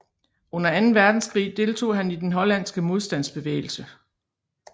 Under anden verdenskrig deltog han i den hollandske modstandsbevægelse